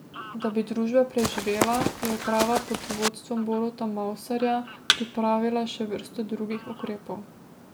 Da bi družba preživela, je uprava pod vodstvom Boruta Mavsarja pripravila še vrsto drugih ukrepov.